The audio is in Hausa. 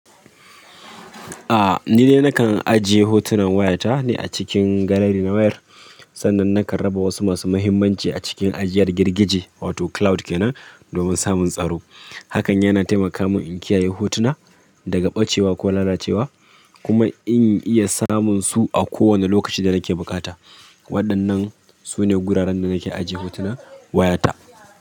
Ah, ni ne nakan ajiye hotunan wayata ne a cikin gallery na wayar. Sannan nakan raba wasu masu muhimmanci a cikin ajiyar girgije wato cloud kenan domin samun tsaro. Hakan yana taimaka mun in kiyaye hotuna daga ɓacewa ko lalacewa kuma in iya samun su a kowane lokaci da nake bukata. Waɗannan su ne guraren da nake ajiye hotuna wayata.